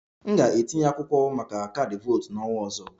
M ga-etinye akwụkwọ maka kaadị votu n'ọnwa ọzọ